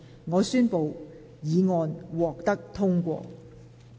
我宣布議案獲得通過。